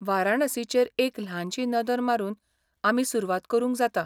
वाराणसीचेर एक ल्हानशी नदर मारून आमी सुरवात करूंक जाता.